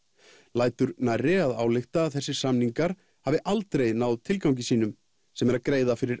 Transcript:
lætur nærri að álykta að þessir samningar hafi aldrei náð tilgangi sínum sem er að greiða fyrir